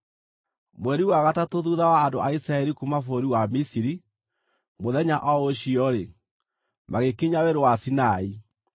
Mweri wa gatatũ thuutha wa andũ a Isiraeli kuuma bũrũri wa Misiri, mũthenya o ũcio-rĩ, magĩkinya Werũ wa Sinai.